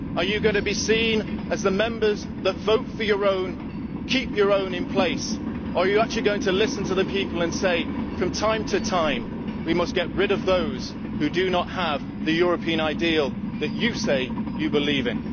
Are you going to be seen as the Members who vote for your own and keep your own in place, or are you actually going to listen to the people and say that from time to time we must get rid of those who do not have the European ideal that you say that you believe in?